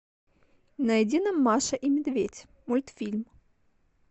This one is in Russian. найди нам маша и медведь мультфильм